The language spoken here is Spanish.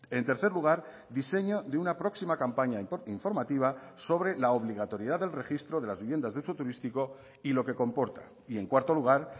en tercer lugar diseño de una próxima campaña informativa sobre la obligatoriedad del registro de las viviendas de uso turístico y lo que comporta y en cuarto lugar